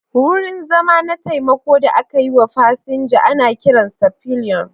Wurin zama na taimako da aka yi wa fasinja ana kiransa pillion.